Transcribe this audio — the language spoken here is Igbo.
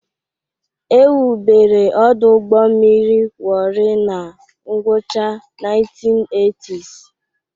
Ewubere ọdụ ụgbọ mmiri Warri na ngwụcha 1980s.